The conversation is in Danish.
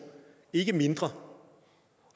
ikke mindre